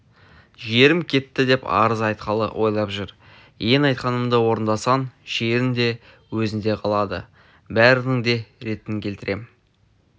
жерім кетті деп арыз айтқалы ойлап жүр ең айтқанымды орындасаң жерің де өзіңде қалады бәрінің де ретін келтірем